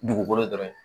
Dugukolo dɔrɔn ye